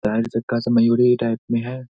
मयूरी ही टाईप में है।